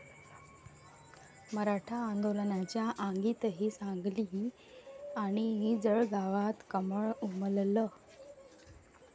मराठा आंदोलनाच्या आगीतही सांगली आणि जळगावात कमळ उमललं!